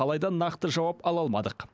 алайда нақты жауап ала алмадық